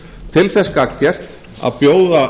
til þess gagngert að bjóða